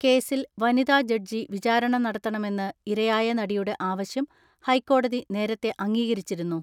കേസിൽ വനിതാജഡ്ജി വിചാരണ നടത്തണമെന്ന് ഇരയായ നടിയുടെ ആവശ്യം ഹൈക്കോടതി നേരത്തെ അംഗീകരിച്ചിരുന്നു.